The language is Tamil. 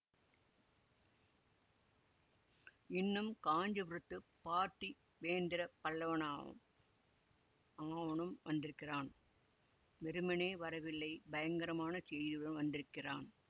இன்னும் காஞ்சிபுரத்துப் பார்த்திபேந்திர பல்லவனாம் அவனும் வந்திருக்கிறான் வெறுமனே வரவில்லை பயங்கரமான செய்தியுடன் வந்திருக்கிறான்